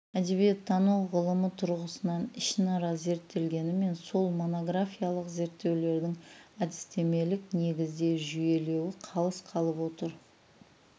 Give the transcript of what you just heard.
әдебиеттану ғылымы тұрғысынан ішінара зерттелгенімен сол монографиялық зерттеулердің әдістемелік негізде жүйелеу қалыс қалып отыр